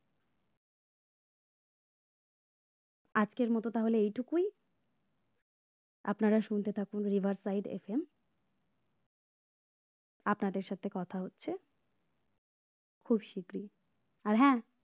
আজকের মতো তাহলে এইটুকুই আপনারা শুনতে থাকুন river side FM আপনাদের সাথে কথা হচ্ছে খুব শিগগিরই আর হ্যাঁ